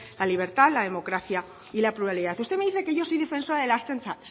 la libertad la democracia y la pluralidad usted me dice que yo soy defensora de la ertzaintza